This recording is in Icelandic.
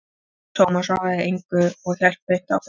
Tómas svaraði þessu engu, en hélt beint áfram